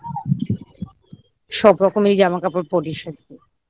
সব রকমেরই জামাকাপড় পড়িস আর কি?